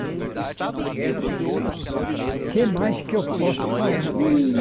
O que mais que eu posso falar? Ihh